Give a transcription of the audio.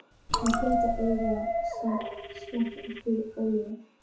Hann hlaut að eiga skammt eftir ólifað.